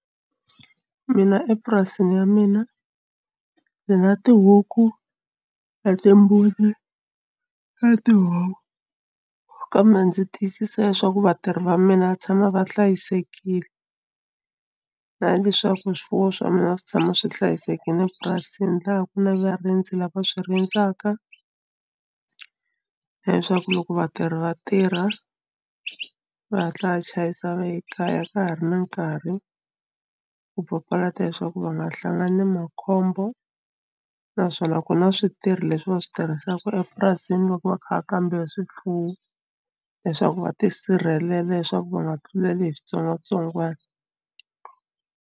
Mina epurasini ya mina ni na tihuku na timbuti na tihomu kambe ndzi tiyisisa leswaku vatirhi va mina va tshama va hlayisekile na leswaku swifuwo swa mina swi tshama swi hlayisekile purasini laha ku na varindzi lava swi rindzaka leswaku loko vatirhi va tirha va hatla va chayisa va ye kaya ka ha ri na nkarhi ku papalata leswaku va nga hlangani na makhombo naswona ku na switirho leswi va swi tirhisaka loko va kha va kambe swifuwo leswaku va tisirhelela leswaku va nga tluleli hi switsongwatsongwana.